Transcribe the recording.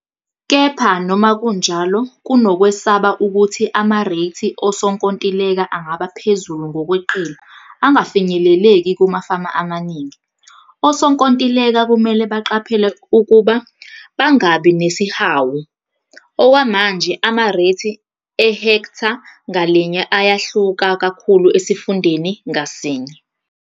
Kepha noma kunjalo kunokwesaba ukuthi amareythi osonkontileka angaba phezulu ngokweqile - angafinyeleleki kumafama amaningi. Osonkontileka kumele baqaphele ukuba "bangabi nesihawu". Okwamanje, amareythi ehektha ngalinye ayahluka kakhulu esifundeni ngasinye.